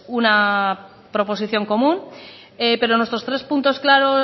una proposición común pero nuestros tres puntos claros